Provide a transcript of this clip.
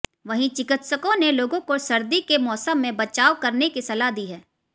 वहीं चिकित्सकों ने लोगों को सर्दी के मौसम में बचाव करने की सलाह दी है